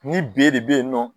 Ni b de be yen nɔ